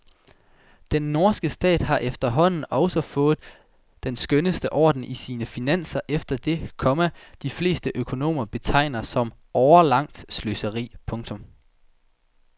Den norske stat har efterhånden også fået den skønneste orden i sine finanser efter det, komma de fleste økonomer betegner som årelangt sløseri. punktum